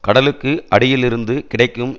கடலுக்கு அடியிலிருந்து கிடைக்கும்